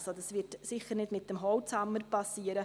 Also: Dies wird sicher nicht mit dem Holzhammer geschehen.